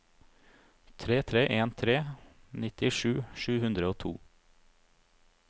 tre tre en tre nittisju sju hundre og to